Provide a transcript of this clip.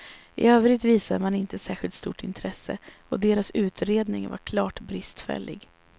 I övrigt visade man inte särskilt stort intresse och deras utredning var klart bristfällig.